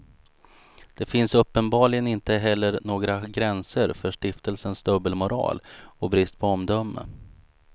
Det finns uppenbarligen inte heller några gränser för stiftelsens dubbelmoral och brist på omdöme.